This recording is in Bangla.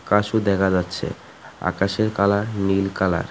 গাসও দেখা যাচ্ছে আকাশের কালার নীল কালার ।